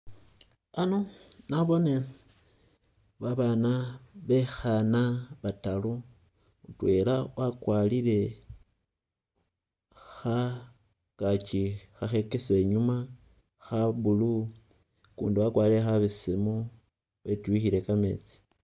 Ano nabone babana bekhana bataru, mutwela wakwalile khangakyi khakhekesa inyuma kha blue, ukundi wakwarire khabesemu wetyukhile kametsi